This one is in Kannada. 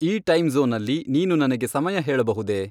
ಈ ಟೈಮ್ ಝೋನ್ನಲ್ಲಿ ನೀನು ನನಗೆ ಸಮಯ ಹೇಳಬಹುದೆ?